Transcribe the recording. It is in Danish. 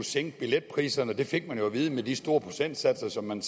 sænke billetpriserne det fik vi jo at vide med de store procentsatser som man